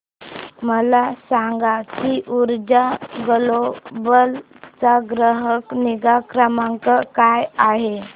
मला सांग की ऊर्जा ग्लोबल चा ग्राहक निगा क्रमांक काय आहे